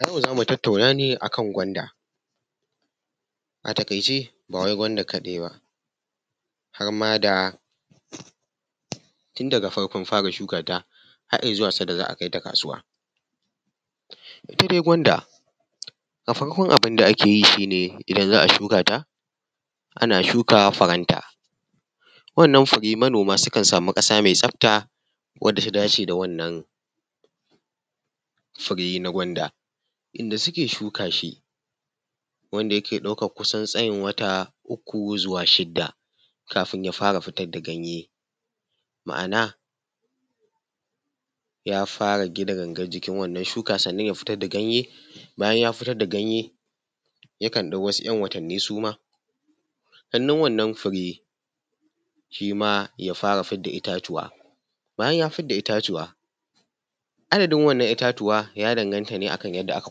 Zamu zo mu tatauna ne a kan gwanda. A taƙaice ba wai gwanda kaɗai ba har ma da tun daga farkon fara shukanta, har izuwa sanda za a kai ta kasuwa. Ita dai gwanda a farkon abin da ake yi shi ne idan za a shuka ta ana shuka furan ta. Wannan fure manoma sukan samu ƙasa mai tsafta wanda ta dace da wannan fure na gwanda. Inda suke shuka shi, wanda yake ɗaukan kusan tsayin wata uku zuwa shida kafin ya fara fitar da ganye, ma'ana ya fara gina gangan jikin wannan shuka. Sannan ya fitar da ganye, bayan ya fitar da ganye yakan ɗau wasu ‘yan watanni suma sannan wannan fure shima ya fara fitar da itatuwa, bayan ya fidda itatuwa, adadin wannan itatuwa ya danganta ne a kan yanda aka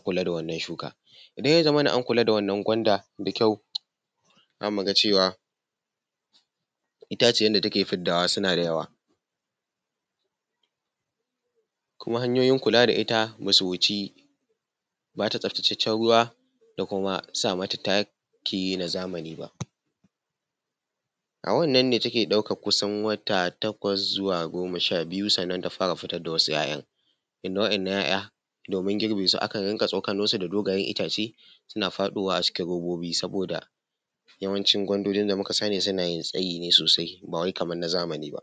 kula da wannan shuka. Idan ya zamana an kula da wannan gwanda da kyau za mu ga cewa itaciyan da take fiddawa suna da yawa, kuma hanyoyin kula da ita basu wuci ba ta tsafatacecen ruwa da kuma sa mata taki na zamani ba. A wannne take ɗaukan kusan wata takwas zuwa goma sha biyu sannan ta fara fitar da wasu ‘ya’yan. Inda wa'inan ‘ya’yan domin girbe su akan dinga tsokano su da dogayen itace suna faɗowa a cikin robobi saboda yawanci gwandoji da muka sani suna yin tsayi ne sosai ba wai kamar na zamanin ba.